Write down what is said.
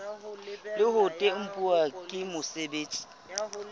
le ho tempuwa ke mosebeletsi